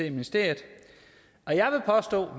i ministeriet